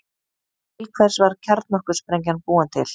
Til hvers var kjarnorkusprengjan búin til?